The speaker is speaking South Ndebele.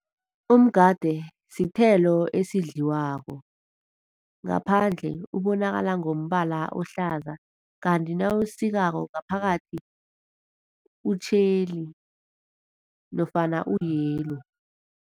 Umgade sithelo esidliwako, ngaphandle ubonakala ngombala ohlaza kanti nawuwusikako ngaphakathi utjheli nofana u-yellow.